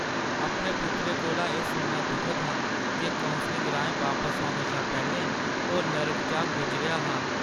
अपने पुत्तरै कोला एह् सुनना दुखद हा जे कौंसलिङ राहें बापस औने शा पैह्‌‌‌लें ओह् नर्क चा गुजरेआ हा।